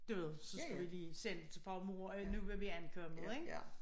Du ved så skulle vi lige sende til far og mor at nu var vi ankommet ik?